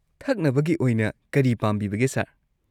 ꯊꯛꯅꯕꯒꯤ ꯑꯣꯏꯅ ꯀꯔꯤ ꯄꯥꯝꯕꯤꯕꯒꯦ, ꯁꯔ?